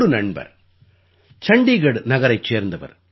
ஒரு நண்பர் சண்டீகட் நகரைச் சேர்ந்தவர்